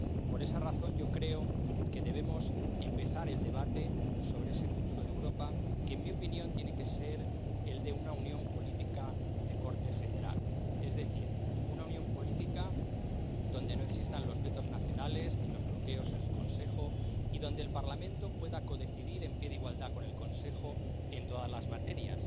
Por esa razón yo creo que debemos empezar el debate sobre ese futuro de Europa, que en mi opinión tiene que ser el de una unión política de corte federal, es decir, una unión política donde no existan los vetos nacionales, ni los bloqueos en el Consejo, y donde el Parlamento pueda codecidir en pie de igualdad con el Consejo en todas las materias,